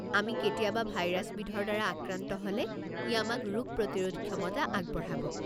আমি কেতিয়াবা ভাইৰাছবিধৰ দ্বাৰা আক্ৰান্ত হ'লে ই আমাক ৰোগ প্ৰতিৰোধ ক্ষমতা আগবঢ়াব।